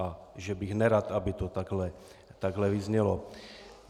A že bych nerad, aby to takhle vyznělo.